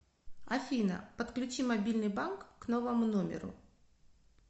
афина подключи мобильный банк к новому номеру